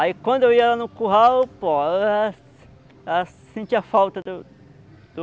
Aí, quando eu ia lá no curral, pô, ela ela sentia falta do do do